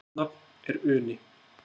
Rétt nafn er Uni.